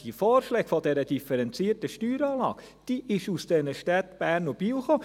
Der Vorschlag dieser differenzierten Steueranlage kam vonseiten der Städte Bern und Biel.